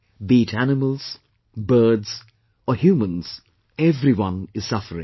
Be it animals, birds or humans...everyone is suffering